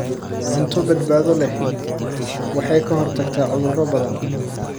Cunto badbaado leh waxay ka hortagtaa cudurro badan.